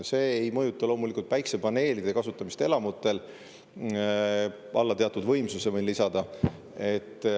See ei mõjuta loomulikult päikesepaneelide kasutamist elamutel alla teatud võimsuse, võin kinnitada.